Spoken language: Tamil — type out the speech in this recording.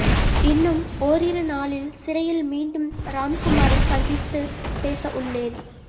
இன் னும் ஓரிரு நாளில் சிறையில் மீண்டும் ராம்குமாரை சந்தித்து பேச உள்ளேன்